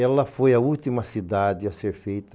Ela foi a última cidade a ser feita